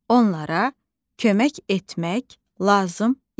Onlara kömək etmək lazım idi.